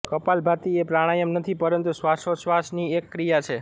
કપાલભાતિ એ પ્રાણાયામ નથી પરંતુ શ્વાસોચ્છ્વાસની એક ક્રિયા છે